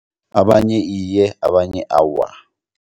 Abanye iye abanye awa.